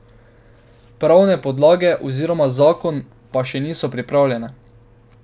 Pravne podlage, oziroma zakon, pa še niso pripravljene.